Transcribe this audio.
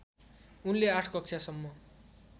उनले आठ कक्षासम्म